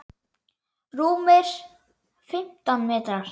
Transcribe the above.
Rúmir fimmtán metrar.